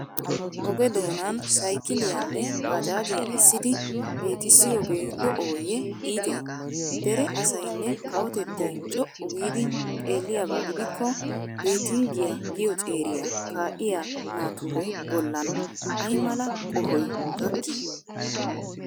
Oge doonan saykiliyanne baajaajiya essidi loytissiyogee lo"ooyyee iitee? Dera asaynne kawotettay co"u giidi xeelliyab gidikko Beettinggiya giyo ceeriya kaa'iya nature bollan ay mala qohoy gakkii?